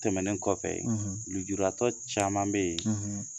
Tɛmɛnen kɔfɛ lejuratɔ caman bɛ yen